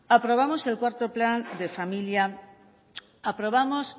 aprobamos el cuarto plan de familia aprobamos